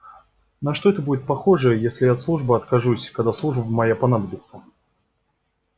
на что это будет похоже если я от службы откажусь когда служба моя понадобится